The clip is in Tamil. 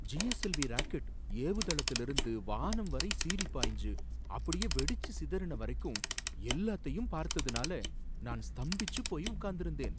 ஜிஎஸ்எல்வி ராக்கெட் ஏவுதளத்தில இருந்து வானம் வரை சீறிப் பாய்ஞ்சு அப்படியே வெடிச்சு சிதறுன வரைக்கும் எல்லாத்தையும் பார்த்ததுனால நான் ஸ்தம்பிச்சு போயி உக்காந்திருந்தேன்.